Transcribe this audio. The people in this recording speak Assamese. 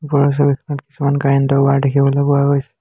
ওপৰৰ ছবিখনত কিছুমান কাৰেণ্ট ৰ ৱাৰ দেখিবলৈ পোৱা গৈছে।